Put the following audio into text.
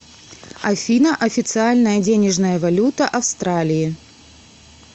афина официальная денежная валюта австралии